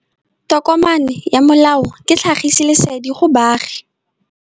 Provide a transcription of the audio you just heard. Tokomane ya molao ke tlhagisi lesedi go baagi.